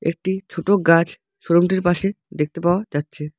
একটি ছোট গাছ শোরুম -টির পাশে দেখতে পাওয়া যাচ্ছে।